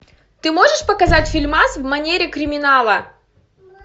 ты можешь показать фильмас в манере криминала